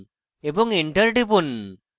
এবং enter টিপুন